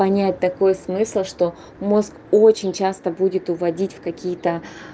понять такой смысл что мозг очень часто будет уводить в какие-то